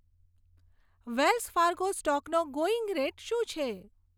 Wales Fargo સ્ટોકનો going rate શું છે